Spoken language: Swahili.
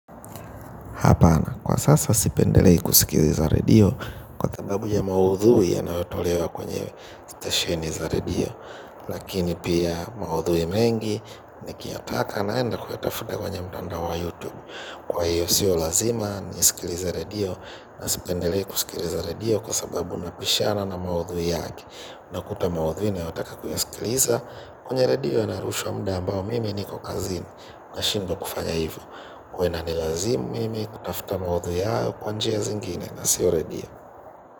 Hapana, kwa sasa sipendelei kusikiliza redio kwa sababu ya maudhui yanayotolewa kwenye stesheni za redio. Lakini pia maudhui mengi nikiyataka naenda kuyatafuta kwenye mtanda wa youtube. Kwa hiyo siyo lazima ni isikiliza radio na sipendelei kusikiliza radio kwa sababu napishana na maudhui yaki nakuta maudhui na yotaka kuyasikiliza kwenye radio yanarushwa mda ambao mimi niko kazini. Nashindwa kufanya hivyo huwa ina nilazimu mimi kutafuta mawaidha hayo kwa njia zingine na sio redio.